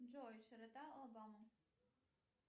джой широта алабамы